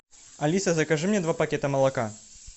алиса закажи мне два пакета молока